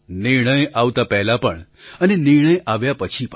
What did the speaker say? નિર્ણય આવતા પહેલાં પણ અને નિર્ણય આવ્યા પછી પણ